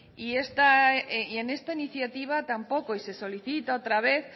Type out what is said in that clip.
y en esta iniciativa tampoco y se solicita otra vez